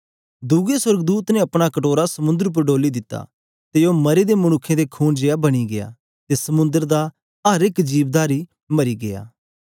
दुए सोर्गदूत ने अपना कटोरा समुंद्र उपर डोली दिता ते ओ मरे दे मनुक्खे दे खून जेया बनी गीया ते समुंद्र दा अर एक जीवधारी मरी गीया